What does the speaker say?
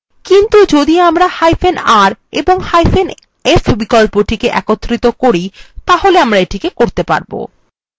কিন্তু যদি আমরাr এবংf বিকল্পটি একত্রিত করি তাহলে আমরা এটি করতে পারব